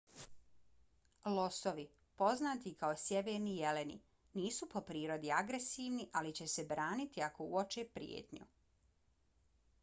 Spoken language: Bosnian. losovi poznati i kao sjeverni jeleni nisu po prirodi agresivni ali će se braniti ako uoče prijetnju